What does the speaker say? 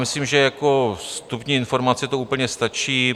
Myslím, že jako vstupní informace to úplně stačí.